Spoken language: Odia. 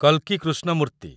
କଲ୍‌କି କୃଷ୍ଣମୂର୍ତ୍ତି